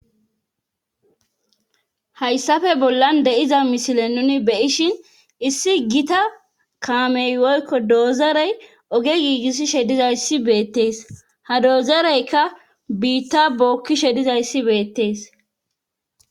Hayssafe bollan de7iza misile nuni be7ishin issi gita kaamey woykko doozarey oge giigisishe dizayssi beettees ha doozereykka biitta bookkishe dizayssi beettees.